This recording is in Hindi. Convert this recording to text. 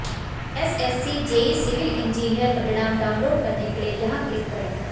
एसएससी जेई सिविल इंजीनियर परिणाम डाउनलोड करने के लिए यहां क्लिक करें